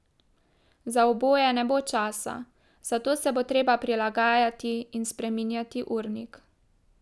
Za oboje ne bo časa, zato se bo treba prilagajati in spreminjati urnik.